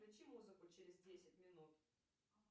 включи музыку через десять минут